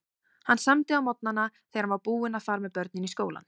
Hann samdi á morgnana þegar hann var búinn að fara með börnin í skólann.